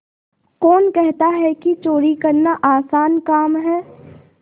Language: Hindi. कौन कहता है कि चोरी करना आसान काम है